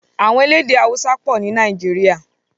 Àwọn elédè Haúsá pọ̀ ní Nàìjíríà.